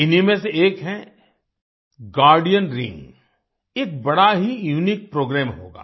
इन्हीं में से एक है गार्डियन रिंग एक बड़ा ही यूनिक प्रोग्राम होगा